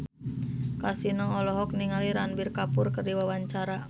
Kasino olohok ningali Ranbir Kapoor keur diwawancara